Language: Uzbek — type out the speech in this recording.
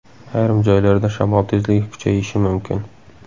Ayrim joylarda shamol tezligi kuchayishi mumkin.